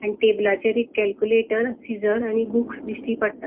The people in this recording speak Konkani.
आणि टेबलाचेर एक केलक्यूलेटर सीजर आणि बुक्स दिष्टि पट्टा.